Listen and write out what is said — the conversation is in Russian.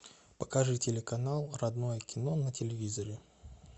покажи телеканал родное кино на телевизоре